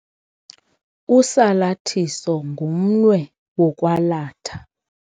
Usalathiso ngumnwe wokwalatha.